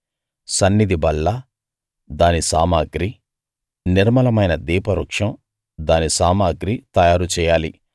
సన్నిధి బల్ల దాని సామగ్రి నిర్మలమైన దీపవృక్షం దాని సామగ్రి తయారు చెయ్యాలి